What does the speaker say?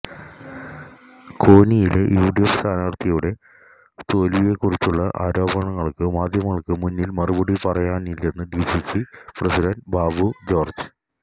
കോന്നിയിലെ UDF സ്ഥാനാര്ത്ഥിയുടെ തോല്വിയെക്കുറിച്ചുള്ള ആരോപണങ്ങള്ക്ക് മാധ്യമങ്ങള്ക്ക് മുന്നില് മറുപടി പറയാനില്ലെന്ന് ഡിസിസി പ്രസിഡന്റ് ബാബു ജോര്ജ്